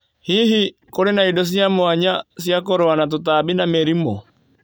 Hihi, kũrĩ na indo cia mwanya cia kũrũa na tũtambi na mĩrimũ?